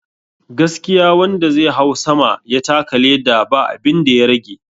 Gaskiya wanda zai hau sama ya taka leda ba abinda ya rage